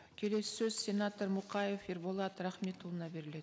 келесі сөз сенатор мұқаев ерболат рахметұлына беріледі